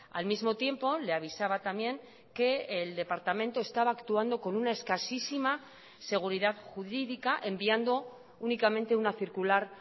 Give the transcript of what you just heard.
al mismo tiempo le avisaba también que el departamento estaba actuando con una escasísima seguridad jurídica enviando únicamente una circular